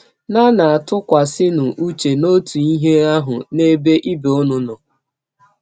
Na Na - atụkwasịnụ ụche n’ọtụ ihe ahụ n’ebe ibe ụnụ nọ. ”